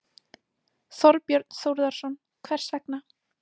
Þorbjörn Þórðarson: Hvers vegna?